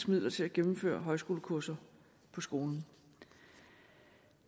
midler til at gennemføre højskolekurser på skolen